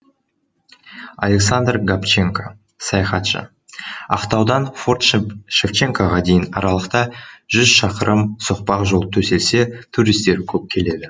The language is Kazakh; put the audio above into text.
александр габченко саяхатшы ақтаудан форт шевченкоға дейін аралықта жүз шақырым соқпақ жол төселсе туристер көп келеді